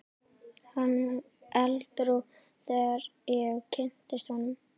Hann var edrú þegar ég kynntist honum.